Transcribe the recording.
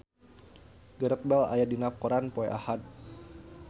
Gareth Bale aya dina koran poe Ahad